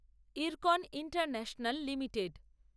IRCON international limited